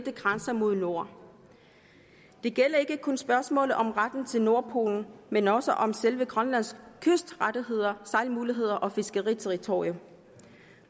grænser mod nord det gælder ikke kun spørgsmålet om retten til nordpolen men også om selve grønlands kystrettigheder sejlmuligheder og fiskeriterritorium